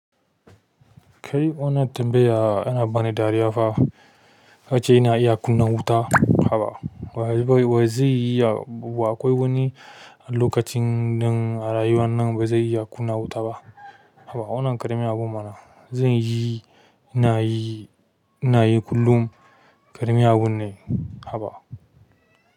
Kai wannan tambaya ana bani dariya fa. A ce ina iya kunna wuta, hana wa zai iya, haba akwai wani lokacin ɗin nan a rayuwa na ba zan iya kunna wuta ba. Haka wannan ƙarami abun mana zan yi, ina yi, ina yi kullum ƙaramin abun ne, haba.